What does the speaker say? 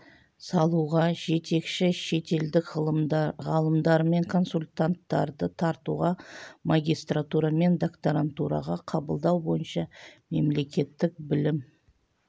салуға жетекші шетелдік ғалымдар мен консультанттарды тартуға магистратура мен докторантураға қабылдау бойынша мемлекеттік білім